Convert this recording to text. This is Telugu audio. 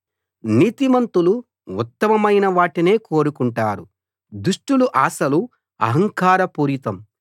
నీతిమంతులు ఉత్తమమైన వాటినే కోరుకుంటారు దుష్టుల ఆశలు అహంకార పూరితం